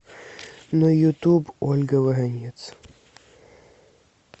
на ютуб ольга воронец